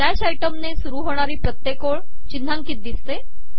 slash item ने सुरू होणारी प्रत्येक ओळ चिन्हांकित दिसते